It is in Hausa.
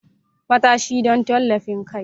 Matashi don tallafin kai.